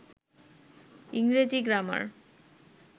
ইংরেজী গ্রামার